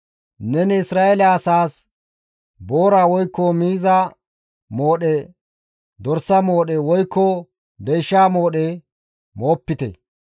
«Neni Isra7eele asaas, ‹Boora woykko miiza moodhe, dorsa moodhe woykko deysha moodhe moopite.